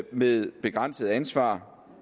med begrænset ansvar